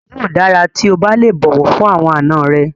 Yóò dára tí o bá lè bọ̀wọ̀ fún àwọn àna rẹ.